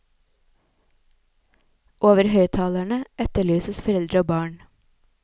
Over høyttalerne etterlyses foreldre og barn.